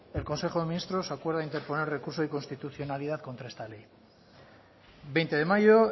el consejo de ministros acuerda interponer recurso de inconstitucionalidad contra esta ley veinte de mayo